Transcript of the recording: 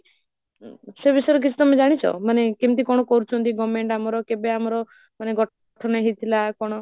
ସେ ବିଷୟରେ କିଛି ତମେ ଜାଣିଛ ମାନେ କେମତି କଣ କରୁଛନ୍ତି government ଆମର କେଭେ ଆମର ମାନେ ଗଠନ ହେଇଥିଲା କଣ